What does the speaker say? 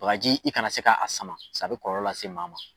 Sagaji i kana se ka a sama a bɛ kɔlɔlɔ lase maa ma.